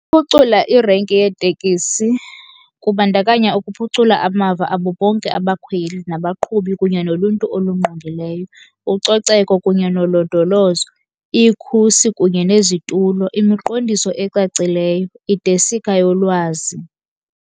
Uphucula irenki yeetekisi kubandakanya ukuphucula amava abo bonke abakhweli nabaqhubi kunye noluntu olungqongileyo. Ucoceko kunye nolondolozo, ikhusi kunye nezitulo, imiqondiso ecacileyo, idesika yolwazi.